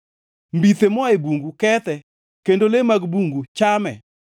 Mbithe moa e bungu kethe, kendo le mag bungu chame.